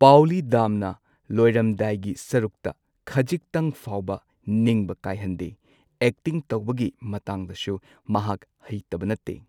ꯄꯥꯎꯂꯤ ꯗꯥꯝꯅ ꯂꯣꯏꯔꯝꯗꯥꯏꯒꯤ ꯁꯔꯨꯛꯇ ꯈꯖꯤꯛꯇꯪ ꯐꯥꯎꯕ ꯅꯤꯡꯕ ꯀꯥꯏꯍꯟꯗꯦ, ꯑꯦꯛꯇꯤꯡ ꯇꯧꯕꯒꯤ ꯃꯇꯥꯡꯗꯁꯨ ꯃꯍꯥꯛ ꯍꯩꯇꯕ ꯅꯠꯇꯦ꯫